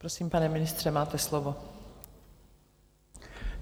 Prosím, pane ministře, máte slovo.